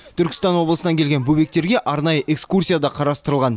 түркістан облысынан келген бөбектерге арнайы экскурсия да қарастырылған